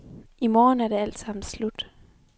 I morgen er det altsammen slut.